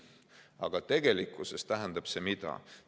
Aga mida see tegelikkuses tähendab?